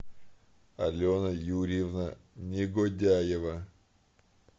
алена юрьевна негодяева